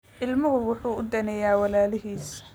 Ilmuhu wuxuu daneeyaa walaalihiis